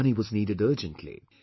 Money was needed urgently